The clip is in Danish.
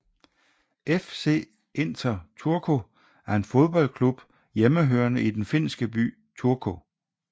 FC Inter Turku er en fodboldklub hjemmehørende i den finske by Turku